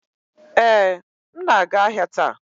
Ee, m na-aga ahịa taa